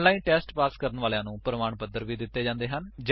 ਜੋ online test pass ਕਰਦੇ ਹਨ ਉਨ੍ਹਾਂਨੂੰ ਪ੍ਰਮਾਣ ਪੱਤਰ ਵੀ ਦਿੰਦੇ ਹਨ